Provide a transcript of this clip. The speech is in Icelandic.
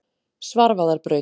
Svarfaðarbraut